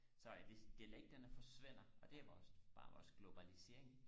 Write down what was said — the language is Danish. så at hvis dialekterne forsvinder og det er vores bare vores globalisering